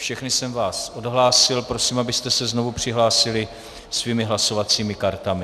Všechny jsem vás odhlásil, prosím, abyste se znovu přihlásili svými hlasovacími kartami.